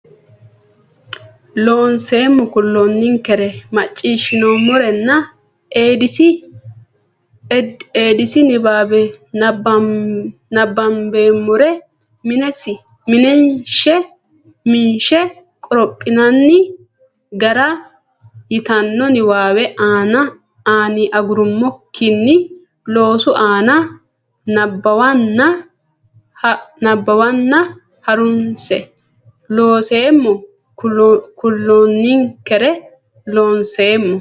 Looseemmo kulloonninkere macciishshinoommorenna Eedisi nabbanboommore minshe qorophinanni gara yitanno niwaawe ani agurrummokkinni loosu aana nabbawanna ha runse Looseemmo kulloonninkere Looseemmo.